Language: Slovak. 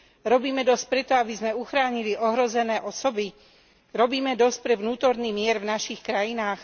Robíme dosť preto, aby sme uchránili ohrozené osoby? Robíme dosť pre vnútorný mier v našich krajinách?